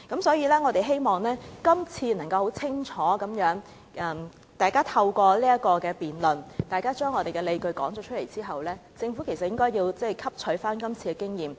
所以，我希望今次大家透過辯論，能夠清楚地說出自己的理據，讓政府汲取今次經驗。